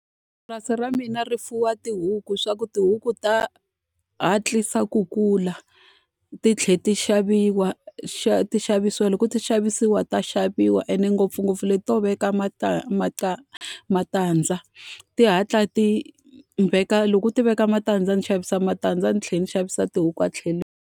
Purasi ra mina ri fuwa tihuku leswaku tihuku ta hatlisa ku kula, ti tlhela ti xaviwa ti xavisiwa. Loko ti xavisiwa ta xavaviwa ene ngopfungopfu leti to veka matandza, ti hatla ti veka loko u ti veka matandza ni xavisa matandza ni tlhela ni xavisa tihuku a tlhelo.